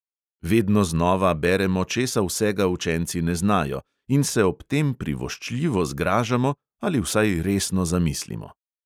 Vedno znova beremo, česa vsega učenci ne znajo, in se ob tem privoščljivo zgražamo ali vsaj resno zamislimo.